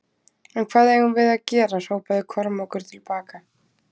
En hvað eigum við að gera hrópaði Kormákur til baka.